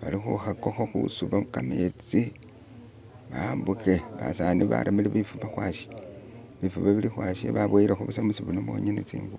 bali khukhakakho khusuba kametsi bambukhe! basani baramile bifuba bili asi baboyelekho musibuno mwongene tsingubo.